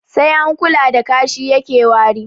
Sai an kula da kashi yake wari